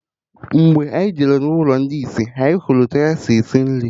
Mgbe anyị jere n'ụlọ ndị isi, anyị hụrụ ka ha na-esi nri